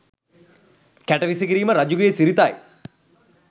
කැට විසිකිරීම රජුගේ සිරිතයි.